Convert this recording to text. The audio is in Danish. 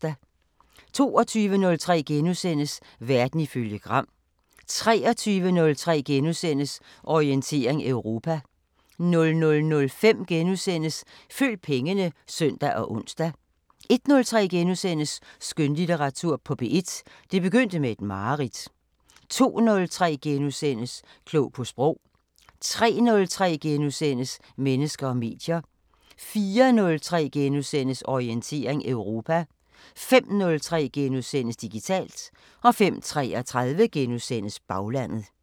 22:03: Verden ifølge Gram * 23:03: Orientering Europa * 00:05: Følg pengene *(søn og ons) 01:03: Skønlitteratur på P1: Det begyndte med et mareridt * 02:03: Klog på Sprog * 03:03: Mennesker og medier * 04:03: Orientering Europa * 05:03: Digitalt * 05:33: Baglandet *